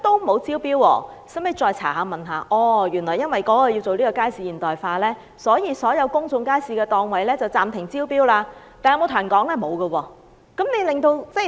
經查詢後，我們始知原來因為要進行街市現代化，所有公眾街市的檔位暫停招標，但食環署卻沒有向外公布。